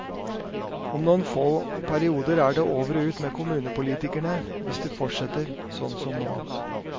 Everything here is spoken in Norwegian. Om noen få perioder er det over og ut med kommunepolitikerne hvis det fortsetter sånn som nå.